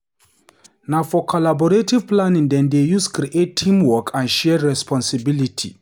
Na for collaborative planning dem dey use create teamwork and shared responsibility.